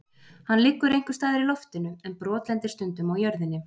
Hann liggur einhvers staðar í loftinu en brotlendir stundum á jörðinni.